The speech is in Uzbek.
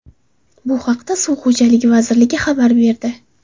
Bu haqda Suv xo‘jaligi vazirligi xabar berdi .